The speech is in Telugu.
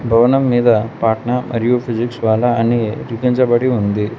భవనం మీద పాట్నా మరియు ఫిజిక్స్ వాలా అని లిఖించబడి ఉంది.